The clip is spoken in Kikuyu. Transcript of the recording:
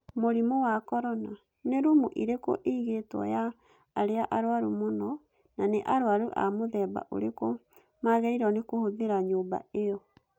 Mũrimũ wa Corona: Nĩ rumu ĩrĩkũ ĩigĩtwo ya arĩa arũaru mũno, na nĩ arwaru a mũthemba ũrĩkũ magĩrĩirwo nĩ kũhũthĩra nyũmba ĩyo?